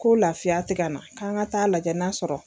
Ko lafiya ti ka na, k'an ka ta'a lajɛ n'a sɔrɔ